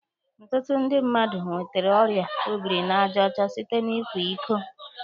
Ọtụtụ ndị mmadụ nwetere ọrịa obiri n'aja ọcha site na ịkwa iko